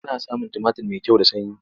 Ana samun tumatir mai kyau da sanyi.